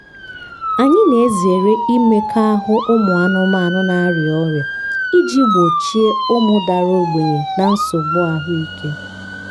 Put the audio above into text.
anyị na-ezere imekọahụ ụmụ anụmanụ na-arịa ọrịa iji gbochie ụmụ dara ogbenye na nsogbu ahụike.